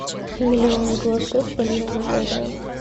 миллион голосов полина гагарина